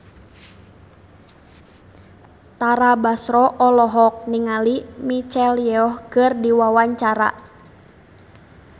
Tara Basro olohok ningali Michelle Yeoh keur diwawancara